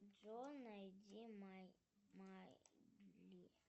джой найди майдли